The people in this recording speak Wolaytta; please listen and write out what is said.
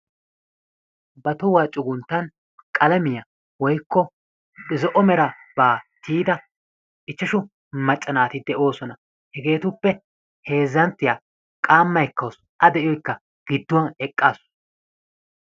Ba tohuwaa cugunttan qalamiyaa woyikko zo"o merabaa tiyida ichchashshu macca naati de'oosona. Hegeetuppe heezzanttiyaa qaamma ekkawusu a de'iyoyikka gidduwan eqqaasu.